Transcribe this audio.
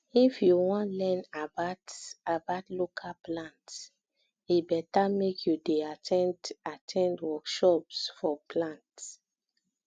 if you wan learn about about local plants e better make you dey at ten d at ten d workshops for plant